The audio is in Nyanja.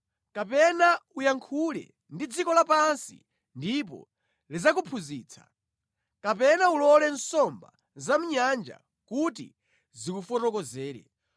kapena uyankhule ndi dziko lapansi ndipo lidzakuphunzitsa, kapena ulole nsomba zamʼnyanja kuti zikufotokozere.